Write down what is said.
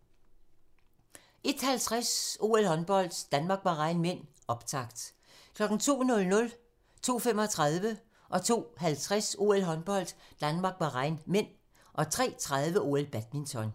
01:50: OL: Håndbold - Danmark-Bahrain (m), optakt 02:00: OL: Håndbold - Danmark-Bahrain (m) 02:35: OL: Håndbold - Danmark-Bahrain (m) 02:50: OL: Håndbold - Danmark-Bahrain (m) 03:30: OL: Badminton